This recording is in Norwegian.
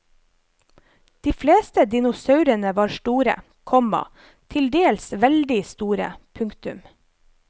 De fleste dinosaurene var store, komma til dels veldig store. punktum